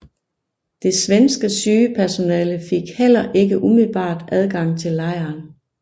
Det svenske sygepersonale fik heller ikke umiddelbart adgang til lejren